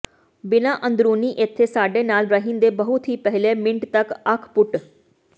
ਬਿਨਾ ਅੰਦਰੂਨੀ ਇੱਥੇ ਸਾਡੇ ਨਾਲ ਰਹਿਣ ਦੇ ਬਹੁਤ ਹੀ ਪਹਿਲੇ ਮਿੰਟ ਤੱਕ ਅੱਖ ਪੁੱਟ